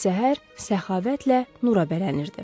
Səhər səxavətlə nurabələnirdi.